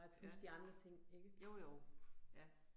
Ja, jo jo, ja